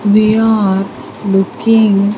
We are looking --